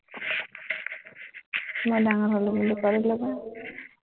মই ডাঙৰ হ'লো বুলি